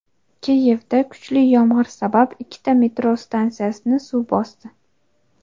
Kiyevda kuchli yomg‘ir sabab ikkita metro stansiyasini suv bosdi.